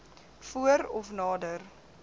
voor af nader